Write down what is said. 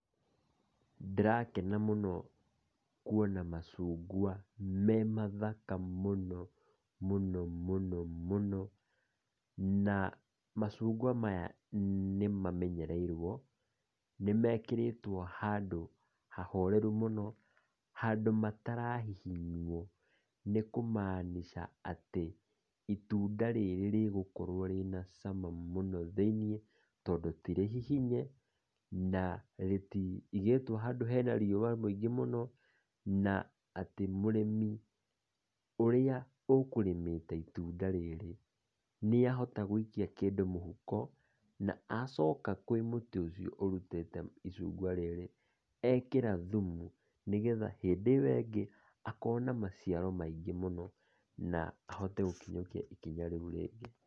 Ndĩrakena mũno kuona macungwa me mathaka mũno mũno mũno mũno, na macungwa maya nĩ mamenyereirwo, nĩ mekĩrĩtwo handũ ha horeru mũno, handũ matira hihinywo. Nĩ kũmaanica atĩ itunda rĩrĩ rĩgũkorwo rĩna cama muno thĩiniĩ, tondũ ti rĩhihinye na rĩtigĩtwo handũ hena riua rĩingĩ mũno na atĩ mũrĩmi ũrĩa ũkũrĩmĩte itunda rĩrĩ, nĩ ahota gũikia kĩndũ mũhuko na acoka kwĩ mũtĩ ũcio ũrutĩte icungwa rĩrĩ ekĩra thũmũ, nĩgetha hĩndĩ ĩyo ĩngĩ akona maciaro maingĩ mũno na ahote gũkinyukia ikinya rĩu rĩngĩ.